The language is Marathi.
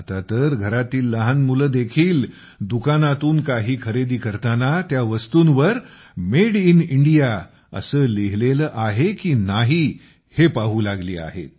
आता तर घरातील लहान मुलेदेखील दुकानातून काही खरेदी करताना त्या वस्तूंवर मेड इन इंडिया असे लिहिलेले आहे की नाही हे पाहू लागली आहेत